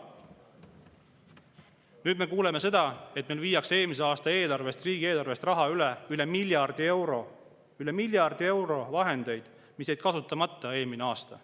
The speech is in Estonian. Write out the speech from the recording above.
Nüüd me kuuleme, et meil viiakse eelmise aasta riigieelarvest üle enam kui miljard eurot, üle miljardi euro vahendeid, mis jäid kasutamata eelmisel aastal.